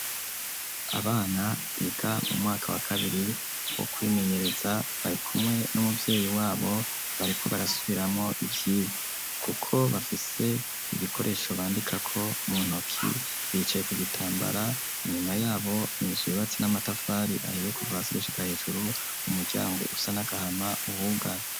Abana biga mu mwaka wa kabiri wo kwimenyereza barikumwe n’umuvyeyi wabo bariko barasubiramwo ivyigwa kuko bafise ibikoresho bandikako mu ntoki, bicaye ku gitambara ,inyuma yabo inzu yubatse n'amatafari ahiye kuva hasi gushika hejuru umuryango usa nagahama uhuga.